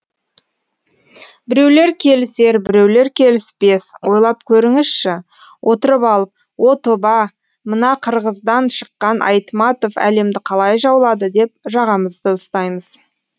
біреулер келісер біреулер келіспес ойлап көріңізші отырып алып о тоба мына қырғыздан шыққан айтматов әлемді қалай жаулады деп жағамызды ұстаймыз